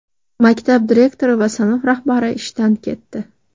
Maktab direktori va sinf rahbari ishdan ketdi .